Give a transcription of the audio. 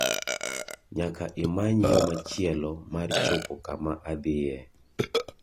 nyaka imany yo machielo mar chopo kama adhie